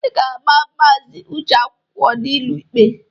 Ị ga-agba maazị Uche akwụkwọ n'ụlọ ikpe!